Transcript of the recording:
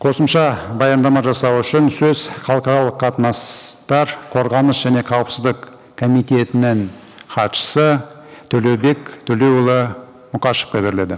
қосымша баяндама жасау үшін сөз халықаралық қатынастар қорғаныс және қауіпсіздік комитетінің хатшысы төлеубек төлеуұлы мұқашевқа беріледі